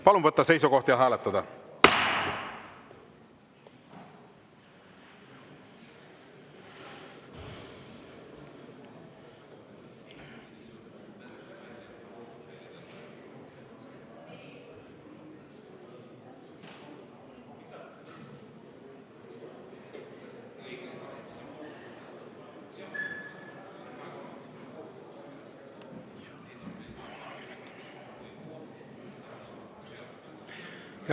Palun võtta seisukoht ja hääletada!